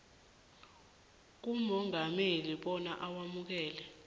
kumongameli bona awamukele